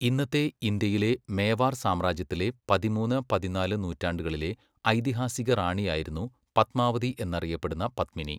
ഇന്നത്തെ ഇന്ത്യയിലെ മേവാർ സാമ്രാജ്യത്തിലെ പതിമൂന്ന്, പതിനാല് നൂറ്റാണ്ടുകളിലെ ഐതിഹാസിക റാണിയായിരുന്നു പത്മാവതി എന്നറിയപ്പെടുന്ന പദ്മിനി.